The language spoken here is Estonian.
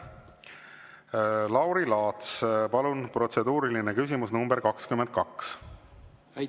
Lauri Laats, palun, protseduuriline küsimus nr 22!